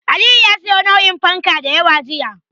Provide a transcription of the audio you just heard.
Aliyu ya siyo nau'in fanka da yawa jiya.